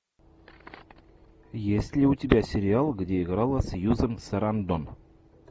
есть ли у тебя сериал где играла сьюзан сарандон